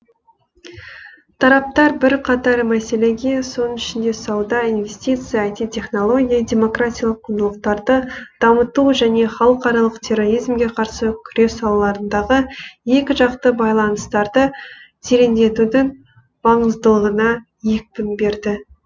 тараптар бірқатар мәселеге соның ішінде сауда инвестиция іт технология демократиялық құндылықтарды дамыту және халықаралық терроризмге қарсы күрес салаларындағы екіжақты байланыстарды тереңдетудің маңыздылығына екпін берді